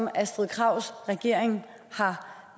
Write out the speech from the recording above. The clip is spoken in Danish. astrid krags regering